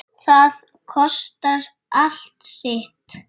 Það kostar allt sitt.